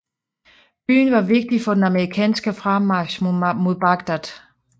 Byen var vigtig for den amerikanske fremmarch mod Bagdad